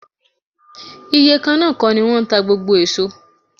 Iye kan náà kọ́ ni wọ́n ń ta gbogbo èso.